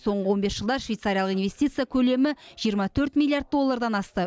соңғы он бес жылда швейцариялық инвестиция көлемі жиырма төрт миллиард доллардан асты